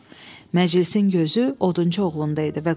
Məclisin gözü odunçu oğlunda idi.